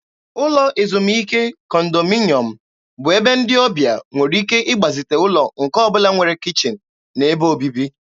Ụlọ ezumike kọndominyọm bụ ebe ndị ọbịa nwere ike ịgbazite ụlọ nke ọ bụla nwere kichin na ebe obibi.